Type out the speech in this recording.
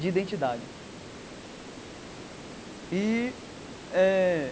de identidade e eh.